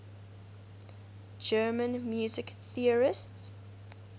german music theorists